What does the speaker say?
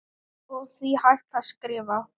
og því hægt að skrifa